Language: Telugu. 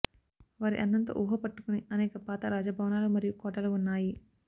వారి అందం తో ఊహ పట్టుకుని అనేక పాత రాజభవనాలు మరియు కోటలు ఉన్నాయి